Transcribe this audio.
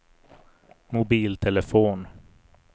mobiltelefon